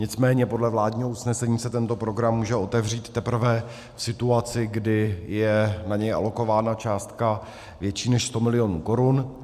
Nicméně podle vládního usnesení se tento program může otevřít teprve v situaci, kdy je na něj alokována částka větší než 100 milionů korun.